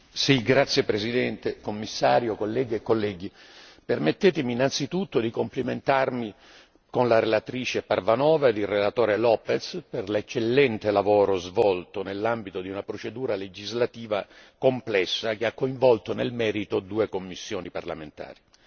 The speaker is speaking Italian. Signora Presidente, onorevoli colleghi, Commissario, permettetemi innanzitutto di complimentarmi con la relatrice Parvanova ed il relatore López per l'eccellente lavoro svolto nell'ambito di una procedura legislativa complessa che ha coinvolto nel merito due commissioni parlamentari.